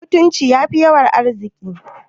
Mutunci yafi yawan arziki